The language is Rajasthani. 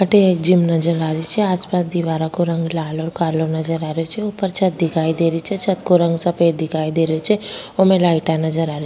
अठे एक जिम नजर आ री छे आस पास दीवारा को रंग लाल और कालो नजर आ रेहो छे ऊपर छत दिखाई दे री छे छत को रंग सफेद दिखाई दे रो छे वोमे लाइटा नजर आ री --